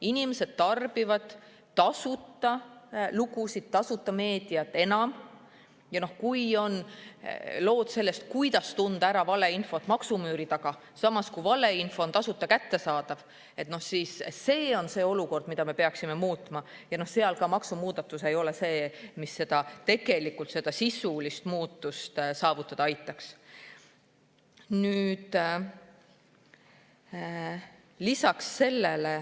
Inimesed tarbivad pigem tasuta lugusid, tasuta meediat, ning kui lood sellest, kuidas tunda ära valeinfot, on maksumüüri taga, samas valeinfo on tasuta kättesaadav, siis see on see olukord, mida me tegelikult peaksime muutma, ja maksumuudatus siin sisulist muutust saavutada ei aita.